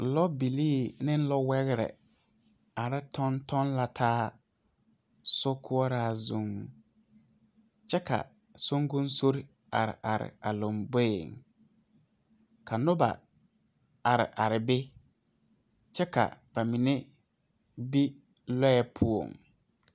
Lɔ bilii ne wɛgre tɔŋ tɔŋ la taa sokoɔraa zuŋ kyɛ ka sonkonsorre are are a lomboeŋ ka noba are are be kyɛ ka ba mine be lɔɛ poɔŋ.